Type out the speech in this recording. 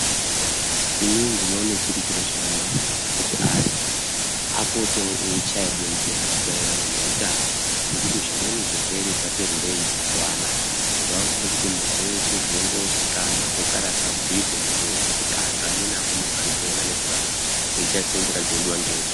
Inini ndinoone chiri chiro chakanaka kuti antu apotewo eichaya bembera maererano neutano. Nekuti zvimweni zvirwere zvati rurei mazuva anaa. Zvave kude kuti muntu weshe zvengozikanwa zvogara zvabhuirwe muntu weshe kuti antu amweni akone kuzvipona nekurarama eishandise nzira dzinodiwa...